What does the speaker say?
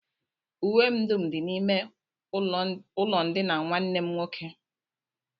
Uwe m dum dị n'ime ụlọndina nwanne m nwoke